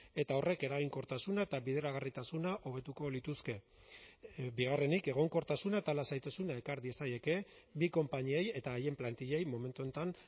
eta horrek eraginkortasuna eta bideragarritasuna hobetuko lituzke bigarrenik egonkortasuna eta lasaitasuna ekar diezaieke bi konpainiei eta haien plantillei momentu honetan